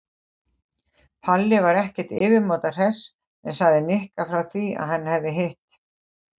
Palli var ekkert yfirmáta hress en sagði Nikka frá því að hann hefði hitt